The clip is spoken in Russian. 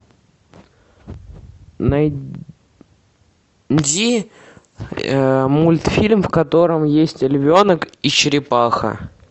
найди мультфильм в котором есть львенок и черепаха